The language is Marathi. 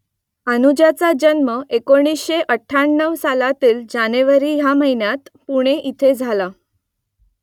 अनुजाचा जन्म एकोणीसशे अठ्ठ्याण्णव सालातील जानेवारी ह्या महिन्यात पुणे इथे झाला